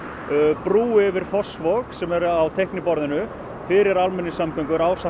brú yfir Fossvog sem er á teikniborðinu fyrir almenningssamgöngur ásamt